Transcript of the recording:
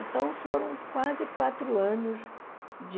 Então, foram quase quatro anos de...